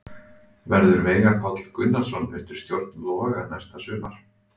En verður Veigar Páll Gunnarsson undir stjórn Loga næsta sumar?